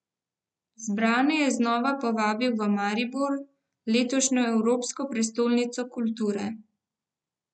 Zbrane je znova povabil v Maribor, letošnjo Evropsko prestolnico kulture.